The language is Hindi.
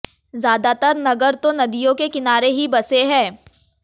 ज्यादातर नगर तो नदियों के किनारे ही बसे हैं